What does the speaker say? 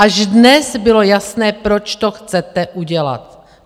Až dnes bylo jasné, proč to chcete udělat.